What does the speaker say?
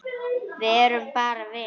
Við erum bara vinir.